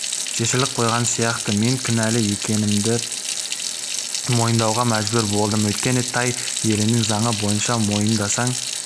шешіліп қойған сияқты мен кінәлі екенімді мойындауға мәжбүр болдым өйткені тай елінің заңы бойынша мойындасаң